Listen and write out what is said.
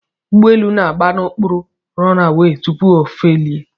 Ụgbọelu na-agba n'okporo runway tupu o felie